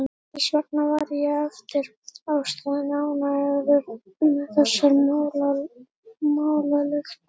Þess vegna var ég eftir ástæðum ánægður með þessar málalyktir.